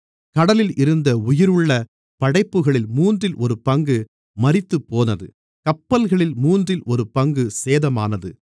கடலில் இருந்த உயிருள்ள படைப்புகளில் மூன்றில் ஒரு பங்கு மரித்துப்போனது கப்பல்களில் மூன்றில் ஒரு பங்கு சேதமானது